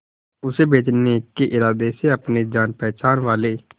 उसे बचने के इरादे से अपने जान पहचान वाले